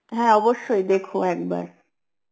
হ্যাঁ অবশ্যই দেখো একবার